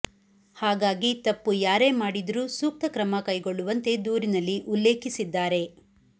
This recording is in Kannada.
ಹಾಗಾಗಿ ತಪ್ಪು ಯಾರೇ ಮಾಡಿದ್ರೂ ಸೂಕ್ತ ಕ್ರಮ ಕೈಗೊಳ್ಳುವಂತೆ ದೂರಿನಲ್ಲಿ ಉಲ್ಲೇಖಿಸಿದ್ದಾರೆ